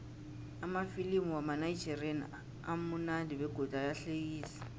amafilimu wamanigerian amunandi begodu ayahlekisa